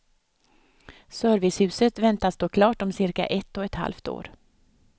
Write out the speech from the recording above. Servicehuset väntas stå klart om cirka ett och ett halvt år.